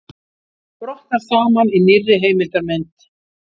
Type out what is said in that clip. Brotnar saman í nýrri heimildarmynd